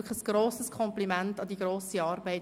Ein grosses Kompliment für die grosse Arbeit!